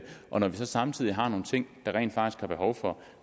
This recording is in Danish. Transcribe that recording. og når vi samtidig har nogle ting der rent faktisk er behov for